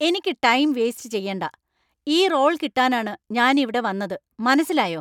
എനിക്ക് time waste ചെയ്യണ്ട! ഈ റോള്‍ കിട്ടാനാണ് ഞാനിവിടെ വന്നത്. മനസ്സിലായോ?